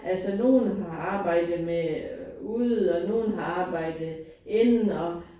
Altså nogen har arbejdet med ude og nogen har arbejdet inde og